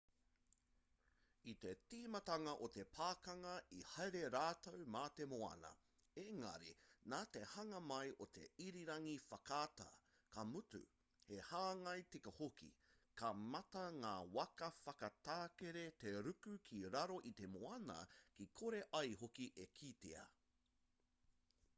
i te tīmatanga o te pakanga i haere rātou mā te moana engari nā te hanga mai o te irirangi whakaata ka mutu he hāngai tika hoki ka mate ngā waka whakatakere te ruku ki raro i te moana kia kore ai hoki e kitea